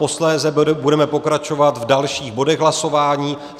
Posléze budeme pokračovat v dalších bodech hlasování.